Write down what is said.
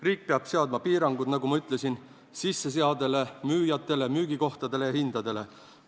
Riik seab piirangud, nagu ma ütlesin, sisseseadele, müüjatele, müügikohtadele ja hindadele.